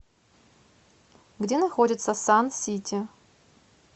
где находится сан сити